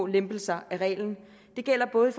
lempelser af reglen det gælder både